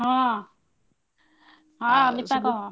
ହଁ ହଁ ମିତା କହ।